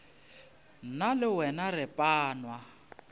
nna le wena re panwa